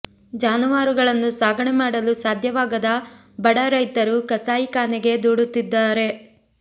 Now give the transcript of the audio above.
ಜಾನುವಾರುಗಳನ್ನು ಸಾಗಣೆ ಮಾಡಲು ಸಾಧ್ಯವಾಗದ ಬಡ ರೈತರು ಕಸಾಯಿ ಖಾನೆಗೆ ದೂಡುತ್ತಿದ್ದಾರೆ